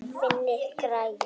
Vantaði græjur?